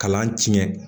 Kalan tiɲɛ